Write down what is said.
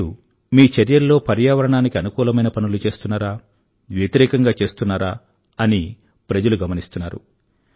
మీరు మీ చర్యల్లో పర్యావరణానికు అనుకూలమైన పనులు చేస్తున్నారా వ్యతిరేకంగా చేస్తున్నారా అని ప్రజలు గమనిస్తున్నారు